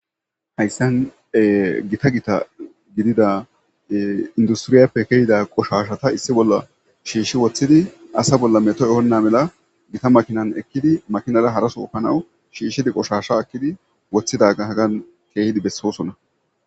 Hayssankka githa githa gidida industriyape keyida qoshashata issi bolla shiishi woththidi, asa bolla metho ehena mala, githa makinankka ekkidi makinara hara sope ani qoshasha ekkidi woththidaga hagan kiyidi bessosona.